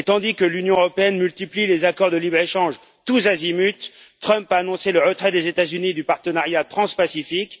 Tandis que l'Union européenne multiplie les accords de libre échange tous azimuts, Trump a annoncé le retrait des États Unis du Partenariat transpacifique.